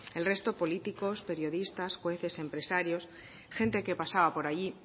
el resto políticos periodistas jueces empresarios gente que pasaba por allí